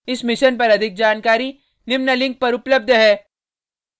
इस mission पर अधिक जानकारी निम्न लिंक पर उपलब्ध है